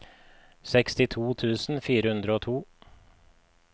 sekstito tusen fire hundre og to